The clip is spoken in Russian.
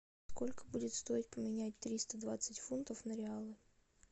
сколько будет стоить поменять триста двадцать фунтов на реалы